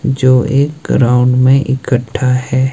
जो एक ग्राउंड में इकठ्ठा है।